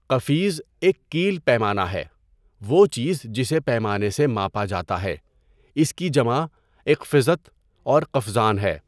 قَفِیْز ایک کَیل، پیمانہ ہے، وہ چیز جسے پیمانے سے ماپا جاتا ہے۔ اس کی جمع اقفِزۃ اور قفزان ہے۔